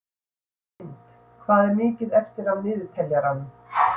Lind, hvað er mikið eftir af niðurteljaranum?